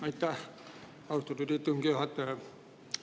Aitäh, austatud istungi juhataja!